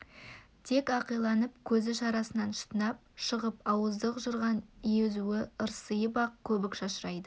тек ақиланып көзі шарасынан шытынап шығып ауыздық жырған езуі ырсиып ақ көбік шашырайды